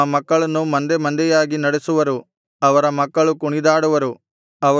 ತಮ್ಮ ಮಕ್ಕಳನ್ನು ಮಂದೆಮಂದೆಯಾಗಿ ನಡೆಸುವರು ಅವರ ಮಕ್ಕಳು ಕುಣಿದಾಡುವರು